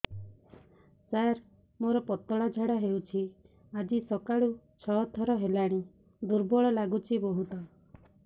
ସାର ମୋର ପତଳା ଝାଡା ହେଉଛି ଆଜି ସକାଳୁ ଛଅ ଥର ହେଲାଣି ଦୁର୍ବଳ ଲାଗୁଚି ବହୁତ